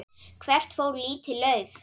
Hvert fór lítið lauf?